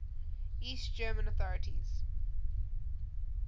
east german authorities